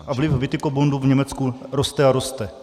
A vliv Witikobundu v Německu roste a roste.